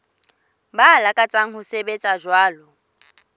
ba lakatsang ho sebetsa jwalo